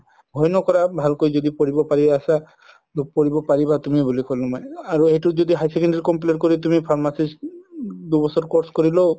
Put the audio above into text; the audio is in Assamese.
ভয় নকৰা ভালকৈ যদি পঢ়িব পাৰি আছ পঢ়িব পাৰিবা বুলি কলো মই আৰু এইটো যদি higher secondary complete কৰি তুমি pharmacist দুবছৰ course কৰিলেও